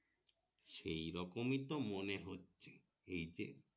সেই রকমই তো মনে হচ্ছে এই যে